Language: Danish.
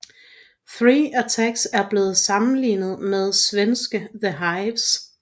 Thee Attacks er blevet sammenlignet med svenske The Hives